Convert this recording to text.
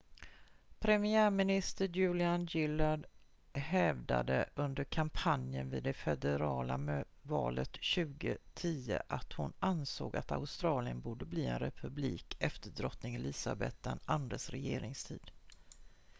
premiärminister julia gillard hävdade under kampanjen vid det federala valet 2010 att hon ansåg att australien borde bli en republik efter drottning elizabeth ii:s regeringstid